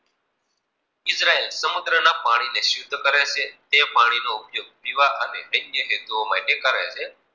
Israel સમુદ્ર માં પાની ને સુધ્ધર કરે છે તે પાની નો ઉપયોગ પીવા અને અન્ય હેટલું માટે કરે છે.